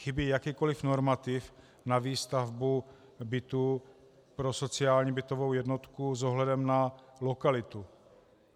Chybí jakýkoliv normativ na výstavbu bytů pro sociální bytovou jednotku s ohledem na lokalitu.